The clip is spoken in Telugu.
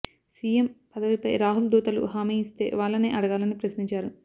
సీఎం పదవిపై రాహుల్ దూతలు హామీ ఇస్తే వాళ్లనే అడగాలని ప్రశ్నించారు